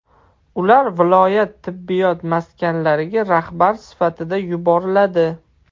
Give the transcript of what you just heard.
Ular viloyat tibbiyot maskanlariga rahbar sifatida yuboriladi.